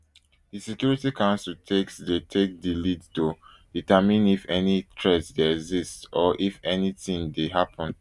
di security council takes dey take di lead to determine if any threat dey exist or if anytin dey happun